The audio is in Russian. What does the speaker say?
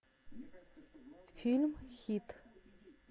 фильм хит